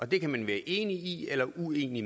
det kan man være enig eller uenig